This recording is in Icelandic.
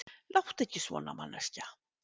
Láttu ekki svona, manneskja.